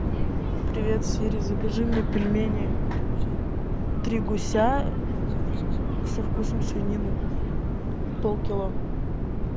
привет сири закажи мне пельмени три гуся со вкусом свинины полкило